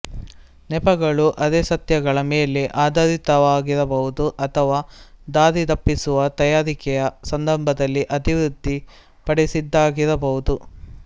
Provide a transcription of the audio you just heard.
ನೆಪಗಳು ಅರೆಸತ್ಯಗಳ ಮೇಲೆ ಆಧಾರಿತವಾಗಿರಬಹುದು ಅಥವಾ ದಾರಿತಪ್ಪಿಸುವ ತಯಾರಿಕೆಯ ಸಂದರ್ಭದಲ್ಲಿ ಅಭಿವೃದ್ಧಿಪಡಿಸಿದ್ದಾಗಿರಬಹುದು